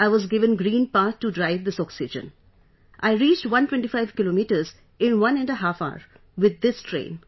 I was given green path to drive this oxygen, I reached 125 kilometres in one and a half hour with this train